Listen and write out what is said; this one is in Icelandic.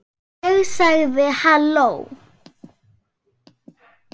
Ég sagði: Halló?